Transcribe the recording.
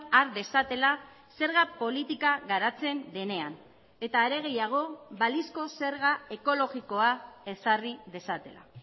har dezatela zerga politika garatzen denean eta are gehiago balizko zerga ekologikoa ezarri dezatela